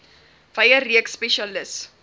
wye reeks spesialis